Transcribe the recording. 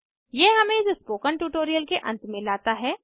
यह हमें इस स्पोकन ट्यूटोरियल के अंत में लाता है